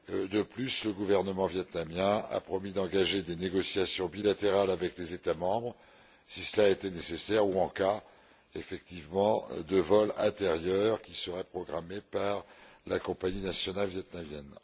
De plus, le gouvernement vietnamien a promis d'engager des négociations bilatérales avec les États membres si cela était nécessaire ou en cas, effectivement, de vol intérieur qui serait programmé par la compagnie nationale vietnamienne.